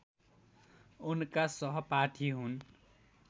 उनका सहपाठी हुन्